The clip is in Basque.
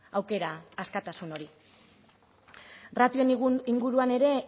aukera askatasun hori ratioen inguruan ere